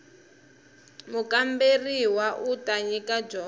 mukamberiwa u ta nyika dyondzo